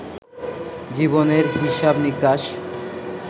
জীবনের হিসাব-নিকাশ